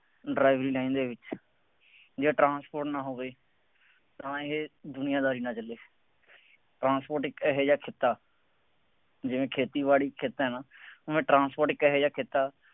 driving line ਦੇ ਵਿੱਚ, ਜਾਂ ਟਰਾਂਸਪੋਰਟ ਨਾਲ ਹੋ ਗਏ, ਤਾਂ ਇਹ ਦੁਨੀਆਦਾਰੀ ਚੱਲਦੀ ਹੈ। ਟਰਾਂਸਪੋਰਟ ਇੱਕ ਇਹੋ ਜਿਹਾ ਕਿੱਤਾ ਜਿਵੇਂ ਖੇਤੀਬਾੜੀ ਹੈ ਨਾ ਉਵੇਂ ਟਰਾਂਸਪੋਰਟ ਇੱਕ ਇਹੋ ਜਿਹਾ ਕਿੱਤਾ